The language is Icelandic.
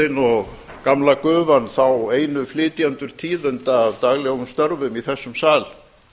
flokksblöðin og gamla gufan þá einu flytjendur tíðinda af daglegum störfum í þessum sal